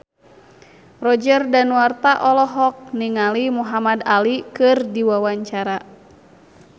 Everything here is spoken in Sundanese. Roger Danuarta olohok ningali Muhamad Ali keur diwawancara